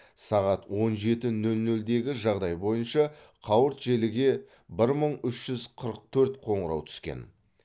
сағат он жеті нөл нөлдегі жағдай бойынша қауырт желіге бір мың үш жүз қырық төрт қоңырау түскен